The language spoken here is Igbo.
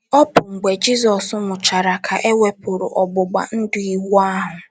Ọ bụ mgbe Jizọs nwụchara ka e wepụrụ ọgbụgba ndụ Iwu ahụ.